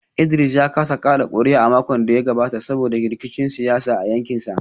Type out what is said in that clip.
Idris ya kasa kada kuri’a a makon da ya gabata saboda rikicin siyasa a yankinsa